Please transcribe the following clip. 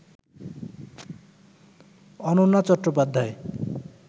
Ananya Chattopadhyay